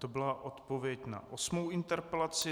To byla odpověď na osmou interpelaci.